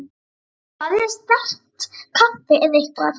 Fáðu þér sterkt kaffi eða eitthvað.